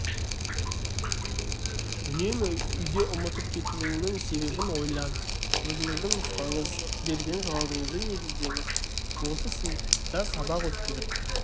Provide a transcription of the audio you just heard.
үнемі үйде ұмытып кетуіңнің себебін ойлан өзіңіздің нұсқаңыз берген жауабыңызды негіздеңіз сіз сыныпта сабақ өткізіп